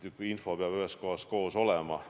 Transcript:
Info peab ühes kohas koos olema.